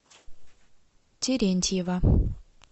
терентьева